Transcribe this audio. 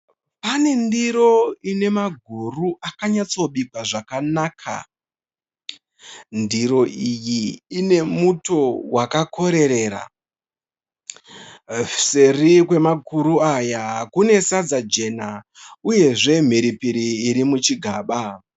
Panendiro ine maguru akanyatsobikwa zvakanaka. Ndiro iyi ine muto wakakorerera. Seri kwemakuru aya kunesadza jena uyezve mhiripiri irimuchigamba.